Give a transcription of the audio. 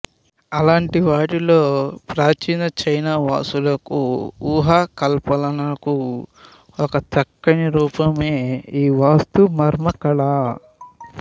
అలాంటి వాటిలో ప్రాచీన చైనావాసుల ఊహా కల్పనలకు ఒక చక్కని రూపమే ఈ వాస్తు మర్మకళ